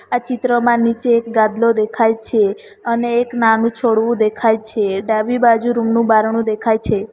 આ ચિત્રમાં નીચે એક ગાદલો દેખાય છે અને એક નાનું છોડવું દેખાય છે ડાબી બાજુ રૂમ નું બારણું દેખાય છે.